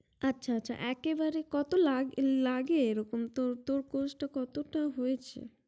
আচ্ছা আচ্ছা একে বাড়ে কত লাগে লাগে এরকম তোর course টা কতটা হয়েছে